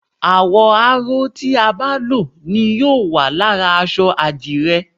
àwò̩ aró tí a bá ló ni yóò wà lára aṣọ adire